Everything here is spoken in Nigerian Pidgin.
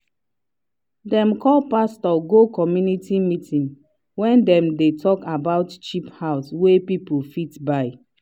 dem call pastor go community meeting wey dem dey talk about cheap house wey people fit buy.